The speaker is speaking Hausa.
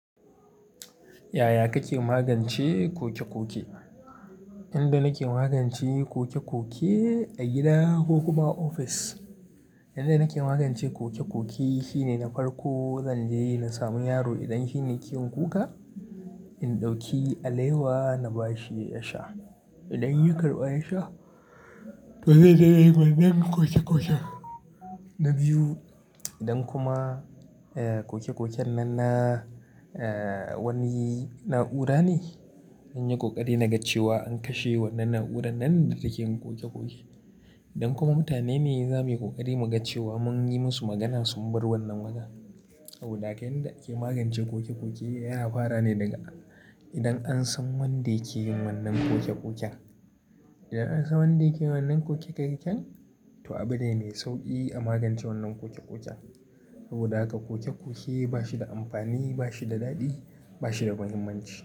Yaya kake magance koke-koke? Inda nake magance koke-koke a gida ko kuma ofis, inda nake magance ƙoke-ƙoke shine na farko zan je na samu yaro idan shine yake kuka, in ɗauki alewa na ba shi ya sha. Idan ya karɓa ya sha, to zai daina yin wannan ƙoke-ƙoken. Na biyu, idan kuma, eh, ƙoke-ƙoken nan na, eh, wani na'ura ne, in yi ƙoƙari na ga cewa an kashe wannan na'urar nan da take ƙoke-ƙoke. Idan kuma mutane ne za muyi ƙoƙari mu ga cewa, mun yi musu magana sun bar wannan wajen. Saboda haka yanda ake magance ƙoke-ƙoke yana fara ne daga idan an san wanda yake yin wannan ƙoke-ƙoken. Idan an san wanda yake wannan ƙoke-ƙoken, to abin ne mai sauƙi a magance wannan ƙoke-ƙoken. Saboda haka ƙoke-ƙoke ba shi da amfani, ba shi da daɗi, ba shi da muhimmanci.